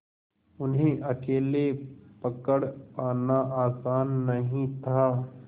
उन्हें अकेले पकड़ पाना आसान नहीं था